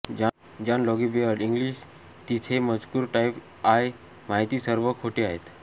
John Logie Baird English तिथे मजकूर type आय माहिती सर्व खोटे आहे